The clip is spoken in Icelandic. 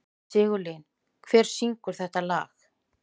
Sigurlín, hver syngur þetta lag?